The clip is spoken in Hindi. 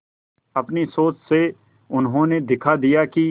अपनी सोच से उन्होंने दिखा दिया कि